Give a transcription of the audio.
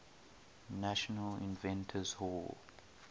national inventors hall